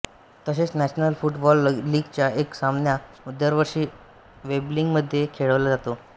तसेच national football लीगचा एक सामना दरवर्षी वेंब्लीमध्ये खेळवला जातो